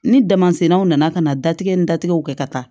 Ni damasinɛw nana ka na datigɛ ni datigɛw kɛ ka taa